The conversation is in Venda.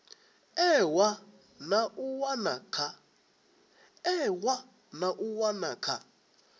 ewa na u wana kha